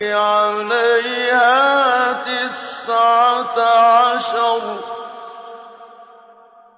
عَلَيْهَا تِسْعَةَ عَشَرَ